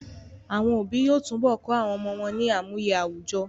Àwọn òbí yóò tún bọ kọ́ àwọn ọmọ wọ́n ní àmúye àwùjọ